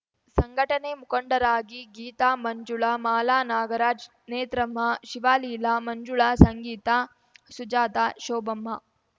ಸಂಘಟನೆ ಮುಖಂಡರಾಗಿ ಗೀತಾ ಮಂಜುಳಾ ಮಾಲಾ ನಾಗರಾಜ್ ನೇತ್ರಮ್ಮ ಶಿವಲೀಲಾ ಮಂಜುಳಾ ಸಂಗೀತಾ ಸುಜತಾ ಶೋಭಮ್ಮ